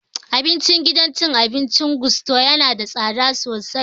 Abincin gidan cin abincin Gusto yana da tsada sosai